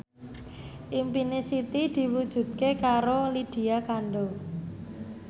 impine Siti diwujudke karo Lydia Kandou